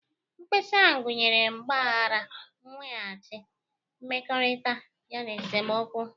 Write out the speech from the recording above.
Mkpesa ahụ nyere mgbaghara, nweghachi mmekọrịta, yana esemokwu.